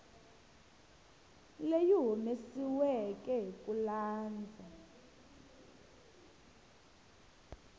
leyi humesiweke hi ku landza